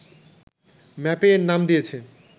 ম্যাপে এর নাম দিয়েছে